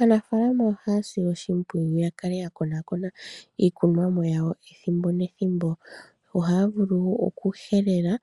Aanafaalama ohaya sile oshimpwiyu ya kale ta konaakona iikunwamo yawo ethimbo nethimbo. Ohaya vulu oku helela,